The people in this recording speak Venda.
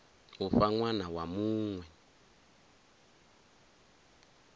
u fha ṅwana wa muṅwe